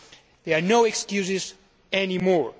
There are no excuses any more.